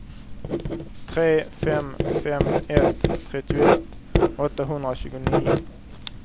tre fem fem ett trettioett åttahundratjugonio